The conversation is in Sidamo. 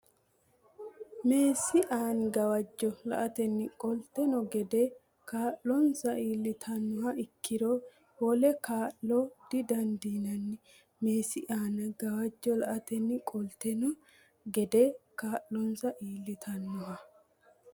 Meessi aana gawajjo la atenni qoltanno gede kaa linsa iillitinoha ikkiro wole kaa la didandiinanni Meessi aana gawajjo la atenni qoltanno gede kaa linsa iillitinoha.